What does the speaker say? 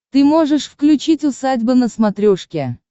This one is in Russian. ты можешь включить усадьба на смотрешке